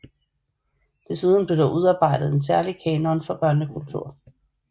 Desuden blev der udarbejdet en særlig kanon for børnekultur